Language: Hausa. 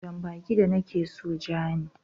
Jan baki da nake so ja ne.